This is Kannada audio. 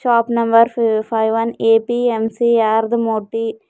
shop number five one APMC yard Moti--